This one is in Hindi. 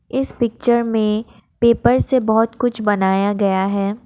इस पिक्चर में पेपर से बहुत कुछ बनाया गया है।